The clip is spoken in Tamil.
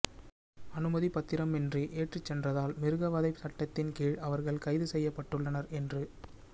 அனுமதிப்பத்திரமின்றி ஏற்றிச் சென்றதால் மிருக வதை சட்டத்தின் கீழ் அவர்கள் கைது செய்யப்பட்டுள்ளனர் என்று